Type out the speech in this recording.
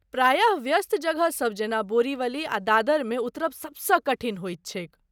प्रायः, व्यस्त जगहसभ जेना बोरीवली आ दादरमे उतरब सबसँ कठिन होइत छैक।